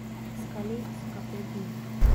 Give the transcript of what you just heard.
Iskali so ga pet dni.